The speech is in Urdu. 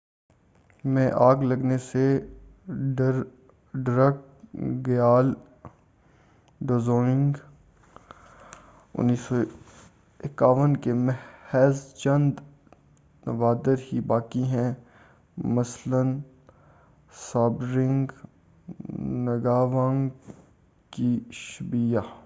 1951 میں آگ لگنے سے ڈرکگیال ڈزونگ کے محض چند نوادر ہی باقی رہے مثلاً ژابڈرنگ نگاوانگ کی شبییہ